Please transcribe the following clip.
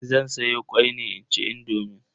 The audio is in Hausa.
Zan soya kwai ne inci indomin.